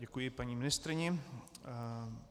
Děkuji paní ministryni.